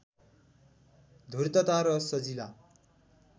धूर्तता र सजिला